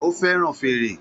Ó fẹ́ràn fèrè